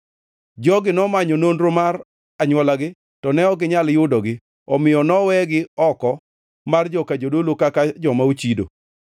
Jogi nomanyo nonro mar anywolagi, to ne ok ginyal yudogi, omiyo nowegi oko mar joka jodolo kaka joma ochido.